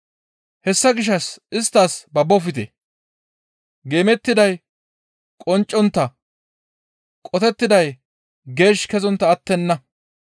«Hessa gishshas isttas babbofte; geemettiday qonccontta qotettiday geesh kezontta attenna.